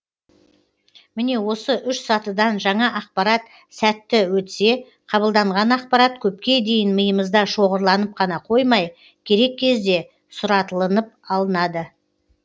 міне осы үш сатыдан жаңа ақпарат сәтті өтсе қабылданған ақпарат көпке дейін миымызда шоғырланып қана қоймай керек кезде сұратылынып алынады